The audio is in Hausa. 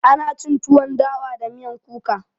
Ana cin tuwon dawa da miyan kuka.